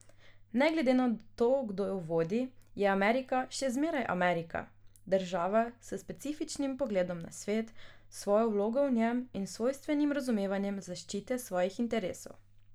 Ne glede na to, kdo jo vodi, je Amerika še zmeraj Amerika, država s specifičnim pogledom na svet, svojo vlogo v njem in svojstvenim razumevanjem zaščite svojih interesov.